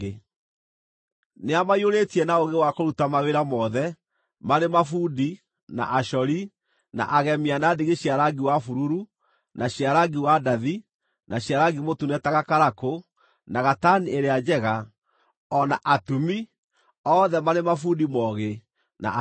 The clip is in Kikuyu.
Nĩamaiyũrĩtie na ũũgĩ wa kũruta mawĩra mothe, marĩ mabundi, na acori, na agemia na ndigi cia rangi wa bururu, na cia rangi wa ndathi, na cia rangi mũtune ta gakarakũ, na gatani ĩrĩa njega, o na atumi: othe marĩ mabundi moogĩ, na acori oogĩ.